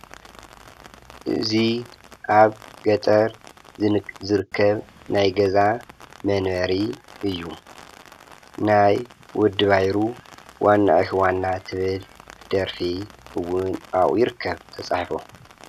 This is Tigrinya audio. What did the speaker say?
እዚ ኣብ ገጠር ዝርከብ ናይ ገዛ መንበሪ እዩ። ናይ ወዲ ባይሩ ዋና ኢኪ ዋና ትብል ደርፊ እውን ኣብኡ ይርከብ ተጻሒፉ።